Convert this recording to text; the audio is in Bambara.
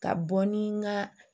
Ka bɔ ni n ka